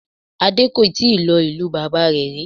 Adé kò tíì lọ sí ìlú bàbá rẹ̀ rí